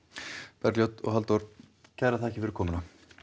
Bergljót og Halldór kærar þakkir fyrir komuna